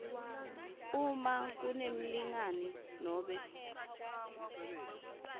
uma kunemlingani nobe